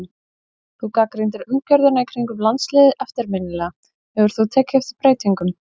Þú gagnrýndir umgjörðina í kringum landsliðið eftirminnilega, hefur þú tekið eftir breytingum?